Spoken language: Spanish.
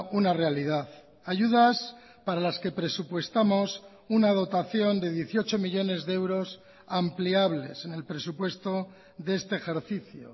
una realidad ayudas para las que presupuestamos una dotación de dieciocho millónes de euros ampliables en el presupuesto de este ejercicio